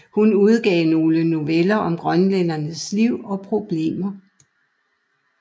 Hun udgav nogle noveller om grønlænderes liv og problemer